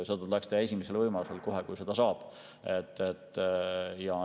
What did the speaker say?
Seda tuleks teha esimesel võimalusel, kohe, kui saab.